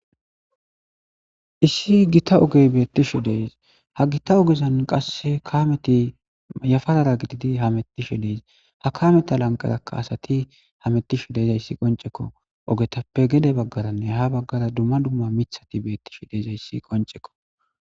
issi gita ogey beettishu dees ha gita ogezan qasse kameti yafarara gididi hamettishe dees ha kameta lanqatakka asati hamettish dizayssi qoncekko ogetappe gede baggaranne ha baggara dumma dumma mithati beettishe diizayssi qoncekko